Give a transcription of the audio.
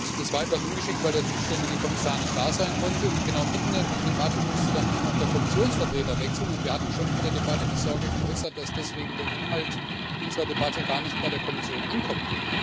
Das war etwas ungeschickt, weil der zuständige Kommissar nicht da sein konnte, und genau mitten in der Debatte musste dann auch noch der Kommissionsvertreter wechseln. Wir hatten schon in der Debatte die Sorge geäußert, dass deswegen der Inhalt unserer Debatte gar nicht bei der Kommission ankommt.